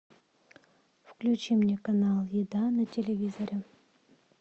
включи мне канал еда на телевизоре